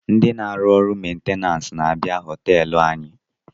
Ndi na-ahụ orụ mentenanse na-abịa hostelu anyị